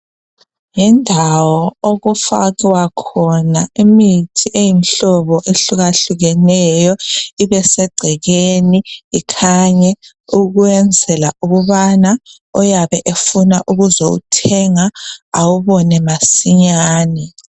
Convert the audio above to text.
Yindawo okufakwa khona imithi eyimhlobo ehlukahlukeneyo ibesegcekeni ikhanye ukwenzela ukubana oyabe efuna ukuzothenga awubone masinyane.